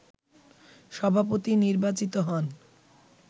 সভাপতি নির্বাচিত হন